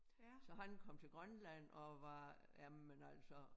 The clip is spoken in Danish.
Så han kom til Grønland og var jamen altså